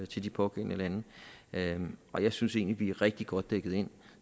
til de pågældende lande lande og jeg synes egentlig er rigtig godt dækket ind